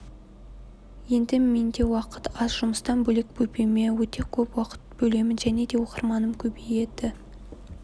енді менде уақыт аз жұмыстан бөлек бөпеме өте көп уақыт бөлемін және де оқырманым көбейді